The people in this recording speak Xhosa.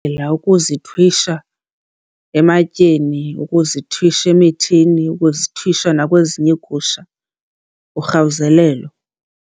ukuzithwisha ematyeni, ukuzithwisha emithini, ukuzithwisha nakwezinye iigusha, urhawuzelelo.